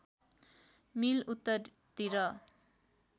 मिल उत्तरतिर